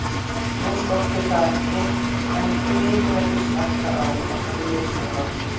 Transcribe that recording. Nú skortir það ekki en því miður er viss hætta á að það sé misnotað.